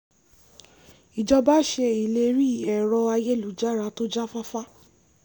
ìjọba ṣe ìlérí ẹ̀rọ-ayélujára tó já fáfá